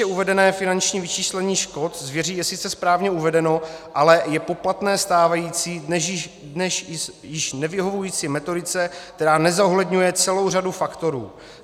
Výše uvedené finanční vyčíslení škod zvěří je sice správně uvedeno, ale je poplatné stávající, dnes již nevyhovující metodice, která nezohledňuje celou řadu faktorů.